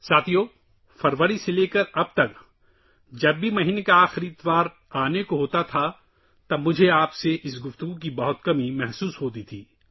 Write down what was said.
دوستو، فروری سے لے کر اب تک، جب بھی مہینے کا آخری اتوار قریب آتا تھا، توآپ سے یہ رابطہ بہت یاد آتا تھا